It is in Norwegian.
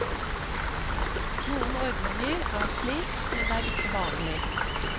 Noen ordninger er slik, men det er ikke vanlig.